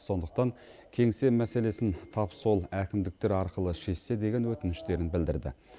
сондықтан кеңсе мәселесін тап сол әкімдіктер арқылы шешсе деген өтініштерін білдірді